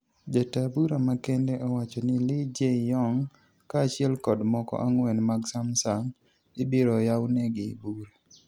Jataa bura makende owachoni, Lee Jay-yong, kaa achiel kod moko ang'wen mag Sumsang ibiro yawnegi bura.